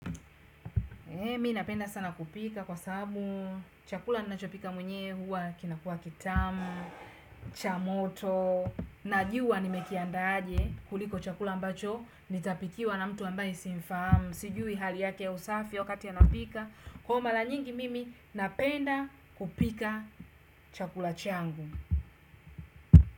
Mi napenda sana kupika kwa sababu chakula ninachopika mwenyewe huwa kinakua kitamu, cha moto, najua nimekiandaa aje kuliko chakula ambacho nitapikiwa na mtu ambaye simfahamu. Sijui hali yake ya usafi wakati anapika. Kwa hiyo mara nyingi mimi napenda kupika chakula changu.